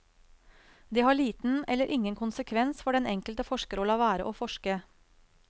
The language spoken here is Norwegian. Det har liten eller ingen konsekvens for den enkelte forsker å la være å forske.